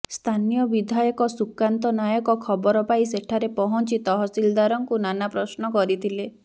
ସ୍ଥାନୀୟ ବିଧାୟକ ସୁକାନ୍ତ ନାୟକ ଖବର ପାଇ ସେଠାରେ ପହଁଚି ତହସିଲଦାରଙ୍କୁ ନାନା ପ୍ରଶ୍ନ କରିଥିଲେ